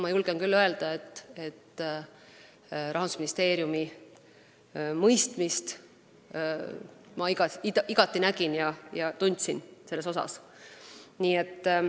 Ma julgen küll öelda, et Rahandusministeeriumist ma nägin ja tundsin igati mõistmist.